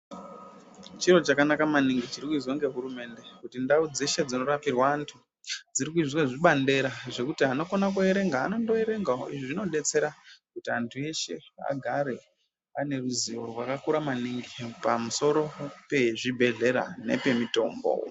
Chiro chakanaka maningi chiri kuizwa nge hurumende kuti ndau dzeshe dzino rapirwa andu dziri kuizwe zvibandera zvekuti vanokona kuverenga vanongo erengawo izvi zvinobesera kuti vandu veshe vagare vane ruzivo maningi pamusoro pe zvibhehlera nepe mutombo.